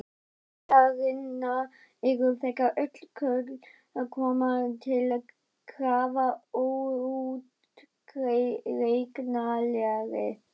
Vegir syndarinnar eru þegar öll kurl koma til grafar óútreiknanlegir.